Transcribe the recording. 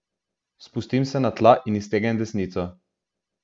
Spustim se na tla in iztegnem desnico.